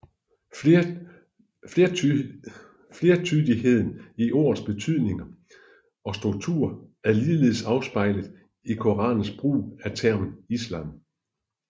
Flertydigheden i ordets betydning og struktur er ligeledes afspejlet i Koranens brug af termen islam